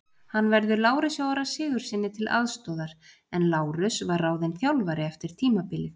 Hann verður Lárusi Orra Sigurðssyni til aðstoðar en Lárus var ráðinn þjálfari eftir tímabilið.